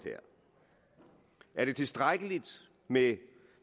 er det tilstrækkeligt med